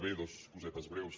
bé dues cosetes breus